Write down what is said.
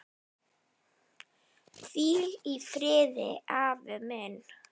Hvíl í friði, afi minn.